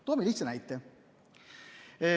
Toome lihtsa näite.